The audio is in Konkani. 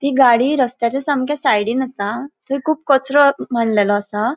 ती गाड़ी रस्त्याच्या सामके सायडीन असा. थय खूब कचरो मांडलेलो असा.